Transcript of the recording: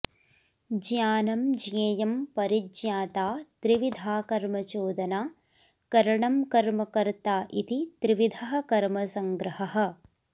ज्ञानं ज्ञेयं परिज्ञाता त्रिविधा कर्मचोदना करणं कर्म कर्ता इति त्रिविधः कर्मसङ्ग्रहः